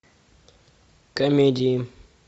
комедии